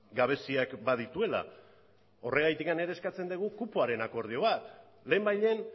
gabeziak badituela horregatik ere eskatzen dugu kupoaren akordio bat lehenbailehen